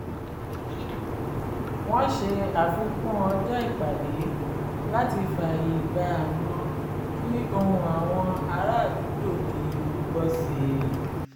wọn ṣe àfikún ọjọ́ ìpàdé láti fààyè gba àwọn kí ohun àwọn ará àdúgbò di gbígbọ́ sí i